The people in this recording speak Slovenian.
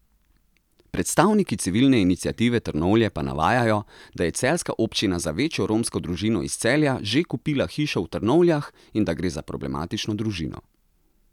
Predstavniki civilne iniciative Trnovlje pa navajajo, da je celjska občina za večjo romsko družino iz Celja že kupila hišo v Trnovljah in da gre za problematično družino.